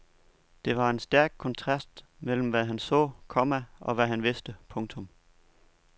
Der var en stærk kontrast mellem hvad han så, komma og hvad han vidste. punktum